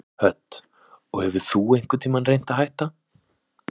Hödd: Og hefur þú einhvern tímann reynt að hætta?